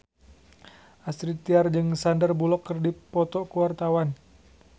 Astrid Tiar jeung Sandar Bullock keur dipoto ku wartawan